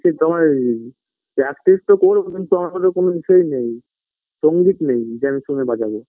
কি তোমার ই practise - তো করবো কিন্তু আমার কাছে কোনো বিষয় নেই সঙ্গীত নেই যে আমি শুনে বাজাব